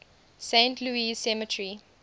saint louis cemetery